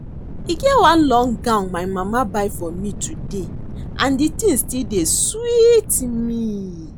E get one long gown my mama buy for me today and the thing still dey sweet me